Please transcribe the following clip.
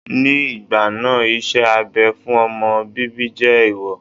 Ní ìgbà náà, iṣẹ́ abẹ fún ọmọ bíbí jẹ́ ẹ̀ẹ̀wọ̀